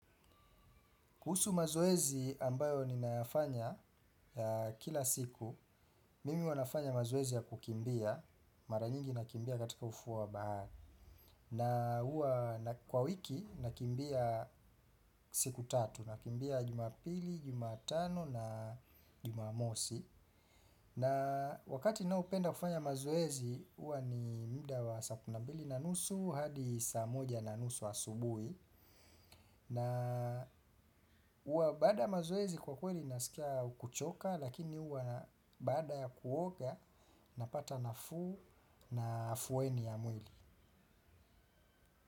Kuhusu mazoezi ambayo ni nafanya ya kila siku, mimi wanafanya mazoezi ya kukimbia, mara nyingi nakimbia katika ufuwa bahari. Na huwa kwa wiki nakimbia siku tatu, nakimbia jumapili, jumatano na jumamosi. Na wakati ninoupenda kufanya mazoezi, huwa ni muda wa saa mbili na nusu hadi saa moja na nusu wa asubuhi. Na huwa bada mazoezi kwa kweli nasikia kuchoka, lakini huwa baada ya kuoga napata nafuu na afueni ya mwili.